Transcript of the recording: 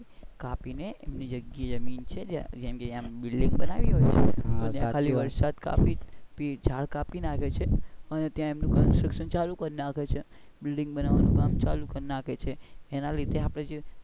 પણ આયા તો બધા કાપી નેએમની જગ્યા જમીન છે ત્યાં એની જગ્યાએ જેમ કે building બાનવી હોય ને ત્યાં ઝાડ કાપી નાખી છે અને ત્યાં એમનું construction ચાલુ કરી નાખે છે building બનવાનું નું કામ ચાલુ કરી નાખે છે જેના લીધે આપડે,